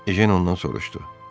Ejen ondan soruşdu: